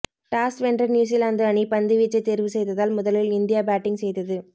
toss வென்ற New Zealand அணி பந்துவீச்சை தேர்வு செய்ததால் முதலில் இந்தியா பேட்டிங் செய்தது